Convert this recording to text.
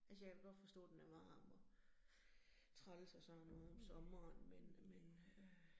Altså jeg kan da godt forstå, den er varm og træls og sådan noget om sommeren men men øh